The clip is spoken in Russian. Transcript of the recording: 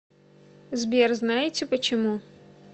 сбер знаете почему